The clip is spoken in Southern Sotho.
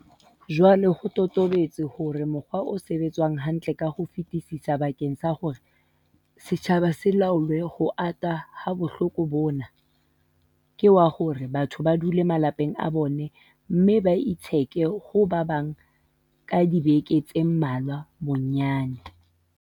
Jwale ho totobetse hore mokgwa o sebetsang hantle ka ho fetisisa bakeng sa hore setjhaba se laole ho ata ha bohloko bona, ke wa hore batho ba dule malapeng a bona mme ba itsheke ho ba bang ka dibeke tse mmalwa bonnyane.